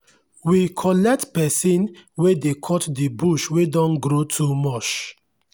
we collect pesin wey dey cut the bush wey don grow too much.